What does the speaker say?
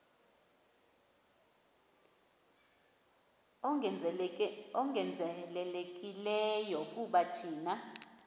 ongezelelekileyo kuba thina